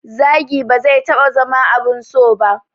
Zagi ba zai taɓa zama abun so ba